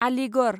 Aligarh